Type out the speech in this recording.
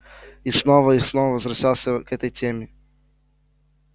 и снова и снова возвращался к этой теме